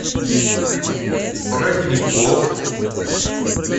родников